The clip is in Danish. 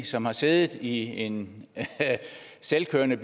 som har siddet i en selvkørende